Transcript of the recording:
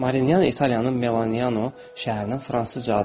Marinyan İtaliyanın Melanoyano şəhərinin Fransızca adıdır.